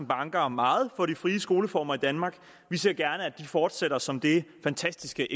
banker meget for de frie skoleformer i danmark vi ser gerne at de fortsætter som det fantastiske